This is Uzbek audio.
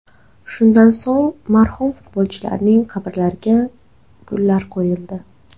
Shundan so‘ng marhum futbolchilarning qabrlariga gullar qo‘yildi.